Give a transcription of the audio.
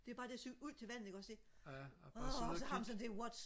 det er bare det at cykle ud til vandet ikke også ikke åh så har man sådan what